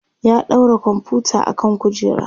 ya ɗaura komfuta akan kujera